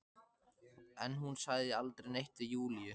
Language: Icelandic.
En hún sagði aldrei neitt við Júlíu.